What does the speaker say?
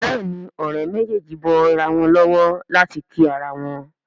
Béèni Òré méjèjì bó ira wón lówó láti kí àrà wón.